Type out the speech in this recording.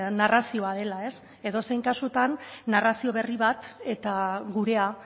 narrazioa dela edozein kasutan narrazio berri bat eta gurea